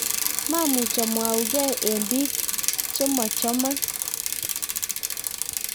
maamuch amwougei eng biik che machomon